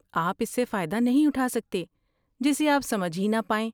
آپ اس سے فائدہ نہیں اٹھا سکتے جسے آپ سمجھ ہی نہ پائیں۔